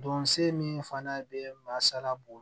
Don se min fana bɛ maa sara b'o la